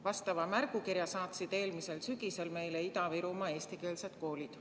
Vastava märgukirja saatsid eelmisel sügisel meile Ida-Virumaa eestikeelsed koolid.